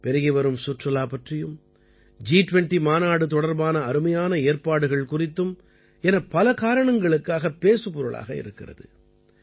பெருகிவரும் சுற்றுலா பற்றியும் ஜி 20 மாநாடு தொடர்பான அருமையான ஏற்பாடுகள் குறித்தும் என பல காரணங்களுக்காகப் பேசுபொருளாக இருக்கிறது